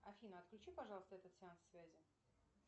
афина отключи пожалуйста этот сеанс связи